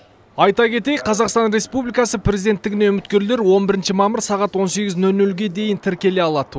айта кетейік қазақстан республикасы президенттігіне үміткерлер бірінші мамыр сағат он сегіз нөл нөлге дейін тіркеле алады